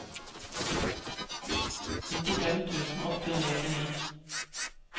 nittifem tusen åtte hundre og åttini